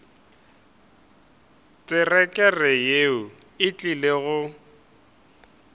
terekere yeo e tlile go